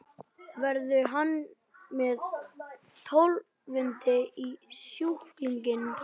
Verður hann með Tólfunni í stúkunni?